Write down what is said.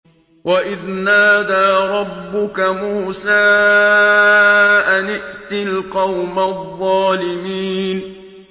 وَإِذْ نَادَىٰ رَبُّكَ مُوسَىٰ أَنِ ائْتِ الْقَوْمَ الظَّالِمِينَ